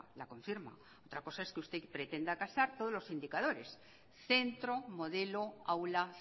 la confirma otra cosa es que usted pretenda casar todos los indicadores centro modelo aula